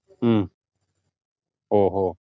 ഉം ഓഹ് ഓ